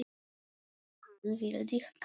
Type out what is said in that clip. Hann vildi kanna.